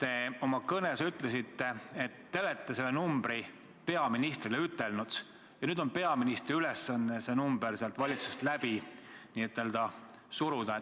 te oma kõnes ütlesite, et te olete selle numbri peaministrile ütelnud ja nüüd on peaministri ülesanne see number valitsuses n-ö läbi suruda.